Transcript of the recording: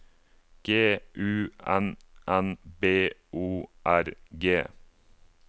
G U N N B O R G